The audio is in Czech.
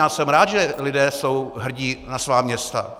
Já jsem rád, že lidé jsou hrdí na svá města.